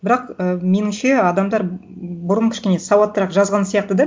бірақ і меніңше адамдар бұрын кішкене сауаттырақ жазған сияқты да